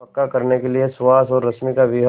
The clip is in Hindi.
पक्का करने के लिए सुहास और रश्मि का विवाह